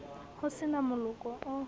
ho se na moloko o